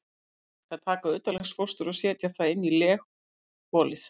Aldrei er hægt að taka utanlegsfóstur og setja það inn í legholið.